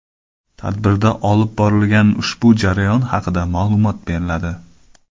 Tadbirda olib borilgan ushbu jarayon haqida ma’lumot beriladi.